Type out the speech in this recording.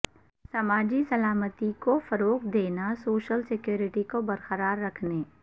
سماجی سلامتی کو فروغ دینا سوشل سیکورٹی کو برقرار رکھنے